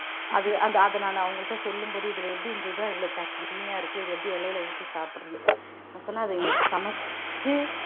அது அந்த அத நான் அவங்கள்ட்ட சொல்லும் போது இதுல எப்படி இருந்ததுன்னா இவ்வளவு தண்ணியா இருக்கு இது எப்படி இலையில ஊத்தி சாப்பிடுறது நான் சொன்னேன் அது எங்களுக்கு சமைச்சு